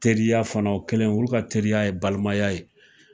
Teriya fana o kɛlen, olu ka teriya balimaya ye